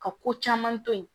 Ka ko caman to yen